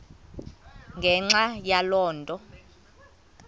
ngenxa yaloo nto